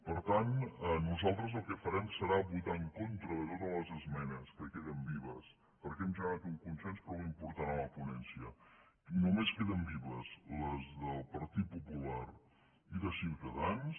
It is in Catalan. per tant nosaltres el que farem serà votar en contra de totes les esmenes que queden vives perquè hem generat un consens prou important a la ponència i només queden vives les del partit popular i de ciutadans